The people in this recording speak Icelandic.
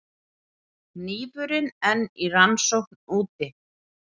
Hnífurinn enn í rannsókn úti